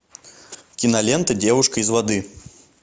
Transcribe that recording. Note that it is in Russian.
кинолента девушка из воды